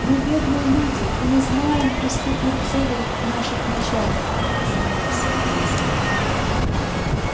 мы бедные люди и не знаем преступных целей наших начальников взмолился один из них